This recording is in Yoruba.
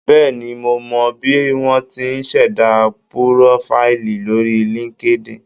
Bẹ́ẹ̀ni, mo mọ̀ bí wọ́n ti ń ṣẹ̀dá púrófáìlì lórí LinkedIn.